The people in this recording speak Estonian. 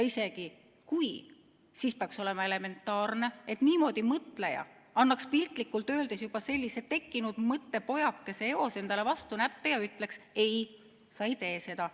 Isegi kui, siis peaks olema elementaarne, et niimoodi mõtleja annaks piltlikult öeldes juba sellise tekkinud mõttepojakese peale eos endale vastu näppe ja ütleks: "Ei, sa ei tee seda.